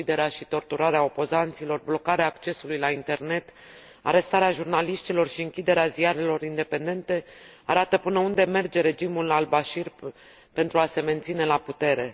Uciderea și torturarea opozanților, blocarea accesului la internet, arestarea jurnaliștilor și închiderea ziarelor independente arată până unde merge regimul al Bashir pentru a se menține la putere.